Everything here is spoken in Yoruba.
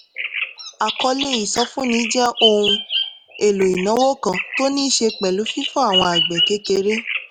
àkọlé ìsọfúnni jẹ́ ohun èlò ìnáwó kan tó ní í ṣe pẹ̀lú fífún àwọn àgbẹ̀ kékeré